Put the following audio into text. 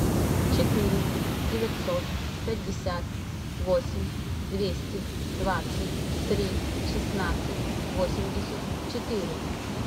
четыре девятьсот пятьдесят восемь двести двадцать три шестнадцать восемьдесят четыре